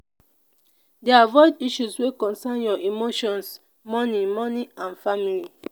dey avoid issues wey concern your emotions money money and family